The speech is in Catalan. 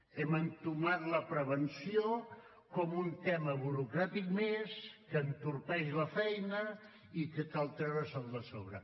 hem entomat la prevenció com un tema burocràtic més que entorpeix la feina i que cal treure se’l de sobre